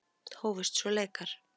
Hófust svo leikar.